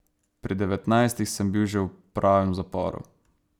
Pri devetnajstih sem bil že v pravem zaporu.